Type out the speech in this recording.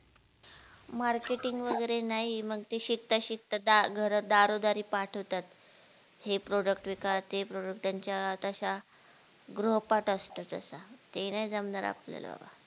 marketing वगैरे नाही मग ते शिकता शिकता दा घर दरोरारी पाठवतात, हे product विका ते product त्यांच्या तसा गृहपाठ असतो तसा, ते नाय जमणार आपल्याला बबा